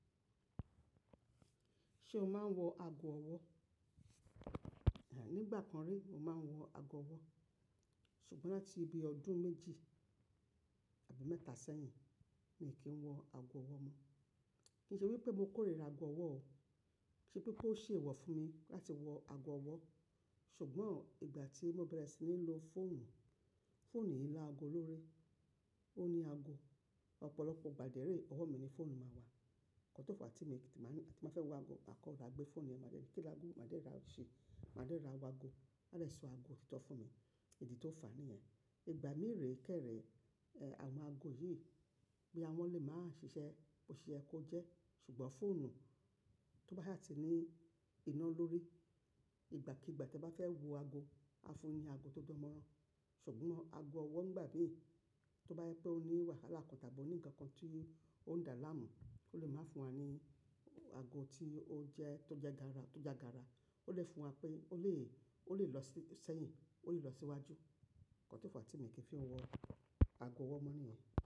Ṣé o máa ń wọ ago ọwọ́? Nìgbà kan rí mo máa ń wọ ago ọwọ́ ṣùgbọ́n láti bii ọdún méjì àbí mẹ́ta sẹ́yìn mi kì n wọ ago ọwọ́ mọ. Kì í ṣe wípé mo kórìíra ago ọwọ́ o. Ṣé pé pé ó ṣèèwọ̀ fún mi láti wọ ago ọwọ́ ṣùgbọ́n ìgbà tí mo bẹ̀rẹ̀ sí ní lo fóònù, fóònù yìí láago lórí, ó ní ago. Ọ̀pọ̀lọpọ̀ ìgbà dè rè ọwọ́ mi ni fóònù máa wà. Nkan to fa wá ti mi ń, maa ni, tí n ba fẹ́ wọ ago maa kan wa gbẹ́ fóònù yẹn máa dẹ́ ni kí lago wi? Máa dẹ́ rora ṣi, máa dẹ́ rora wago. A dẹ̀ sọ ago otitọ́ fún mi. Idì tó fà níyẹn. Ìgbà mií rè kẹ́rẹ̀ àwọn ago yìí boya wọn lè máa ṣiṣẹ́, bó ṣe ye kó jẹ́ ṣùgbọ́n fóònù tó bá sà ti ní iná lórí, ìgbàkígbà te bá fẹ́ wọ ago, a fún yi ni ago tó dánmọ́rán ṣùgbọ́n ago ọwọ́ nígbà míi tó bá jẹ pé ó ní wàhálà kàn tàbí ó ní ǹkan kan tí ó ń dà láàmú ó lè máa fún wa ní ago tí ó jẹ́ tó jẹ́ gara tó ja gara. Ó lè fún wa pé ó lè, ó lè lọ sí sẹ́yìn ó lè lọ síwájú. O tọ nkan ti mi kì í fi n wọ ago ọwọ́ mọ́ níyẹn.